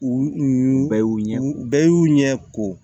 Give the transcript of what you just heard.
U bɛɛ y'u ɲɛ bɛɛ y'u ɲɛ ko